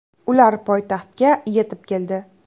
Ular poytaxtga yetib keldi.